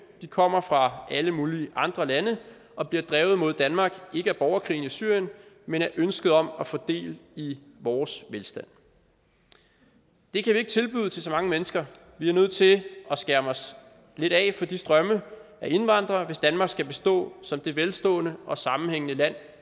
de kommer fra alle mulige andre lande og bliver drevet mod danmark ikke af borgerkrigen i syrien men af ønsket om at få del i vores velstand det kan vi ikke tilbyde til så mange mennesker vi er nødt til at skærme os lidt af for de strømme af indvandrere hvis danmark skal bestå som det velstående og sammenhængende land